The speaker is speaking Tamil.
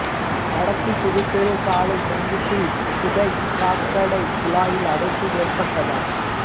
வடக்கு புதுத்தெரு சாலை சந்திப்பில் புதை சாக்கடை குழாயில் அடைப்பு ஏற்பட்டதால்